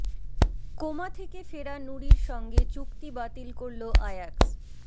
coma থেকে ফেরা নুরির সঙ্গে চুক্তি বাতিল করল আয়াক্স